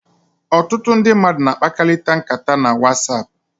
Ọtụtụ ndi mmadu na-akpakalita nkata na Whatsapp.